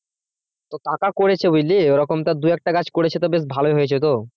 তো কাকা করেছে বুঝলি ওরকম তো দু-একটা গাছ করেছো তো বেশ ভালোই হয়েছে তো?